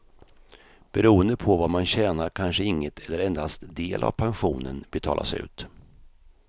Beroende på vad man tjänar kanske inget eller endast del av pensionen betalas ut.